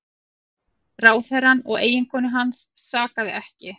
Ráðherrann og eiginkonu hans sakaði ekki